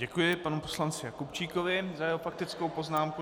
Děkuji panu poslanci Jakubčíkovi za jeho faktickou poznámku.